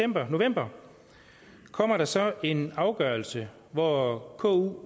november kom der så en afgørelse hvor ku